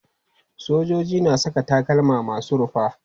Sojoji na saka takalma masu rufa.